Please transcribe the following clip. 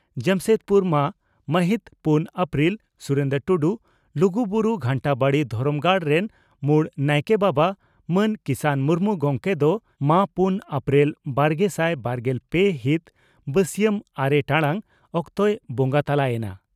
ᱡᱟᱢᱥᱮᱫᱽᱯᱩᱨᱢᱟᱹ ᱢᱟᱹᱦᱤᱛ ᱯᱩᱱ ᱟᱯᱨᱤᱞ (ᱥᱩᱨᱮᱱᱫᱨᱚ ᱴᱩᱰᱩ) ᱺ ᱞᱩᱜᱩᱵᱩᱨᱩ ᱜᱷᱟᱱᱴᱟᱵᱟᱲᱤ ᱫᱷᱚᱨᱚᱢ ᱜᱟᱲ ᱨᱮᱱ ᱢᱩᱲ ᱱᱟᱭᱠᱮ ᱵᱟᱵᱟ ᱢᱟᱱ ᱠᱤᱥᱟᱱ ᱢᱩᱨᱢᱩ ᱜᱚᱢᱠᱮ ᱫᱚ ᱢᱟᱹ ᱯᱩᱱ ᱟᱯᱨᱤᱞ ᱵᱟᱨᱜᱮᱥᱟᱭ ᱵᱟᱨᱜᱮᱞ ᱯᱮ ᱦᱤᱛ ᱵᱟᱹᱥᱤᱭᱟᱢ ᱟᱨᱮ ᱴᱟᱲᱟᱝ ᱚᱠᱛᱮᱭ ᱵᱚᱸᱜᱟ ᱛᱟᱞᱟ ᱮᱱᱟ ᱾